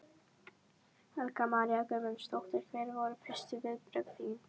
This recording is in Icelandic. Helga María Guðmundsdóttir: Hver voru fyrstu viðbrögð þín?